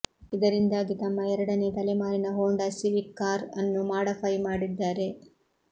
ಇದರಿಂದಾಗಿ ತಮ್ಮ ಎರಡನೇ ತಲೆಮಾರಿನ ಹೋಂಡಾ ಸಿವಿಕ್ ಕಾರ್ ಅನ್ನು ಮಾಡಫೈ ಮಾಡಿದ್ದಾರೆ